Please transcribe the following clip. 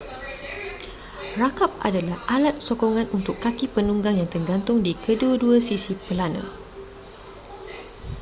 rakap adalah alat sokongan untuk kaki penunggang yang tergantung di kedua-dua sisi pelana